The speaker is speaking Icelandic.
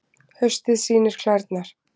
Haustið sýnir klærnar